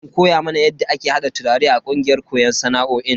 An koya mana yadda ake hada turare a kungiyar koyon sana'o'in.